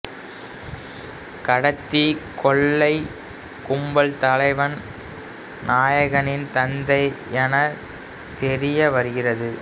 கடத்திய கொள்ளைக் கும்பல் தலைவன் நாயகனின் தந்தை எனத் தெரிய வருகிறது